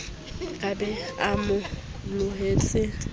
ka be a mo lohetse